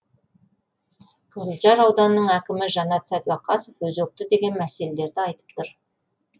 қызылжар ауданының әкімі жанат сәдуақасов өзекті деген мәселелерді айтып тұр